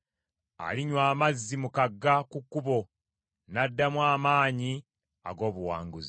Alinywa amazzi mu kagga ku kkubo, n’addamu amaanyi ag’obuwanguzi.